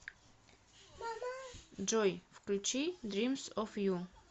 джой включи дримс оф ю